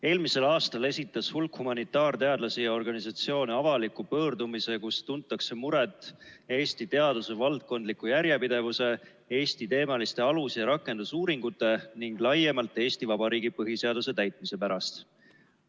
Eelmisel aastal esitas hulk humanitaarteadlasi ja -organisatsioone avaliku pöördumise, milles tuntakse muret Eesti teaduse valdkondliku järjepidevuse, Eesti-teemaliste alus- ja rakendusuuringute ning laiemalt Eesti Vabariigi põhiseaduse täitmise pärast.